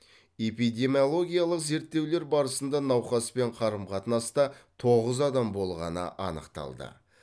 эпидемиологиялық зерттеулер барысында науқаспен қарым қатынаста тоғыз адам болғаны анықталды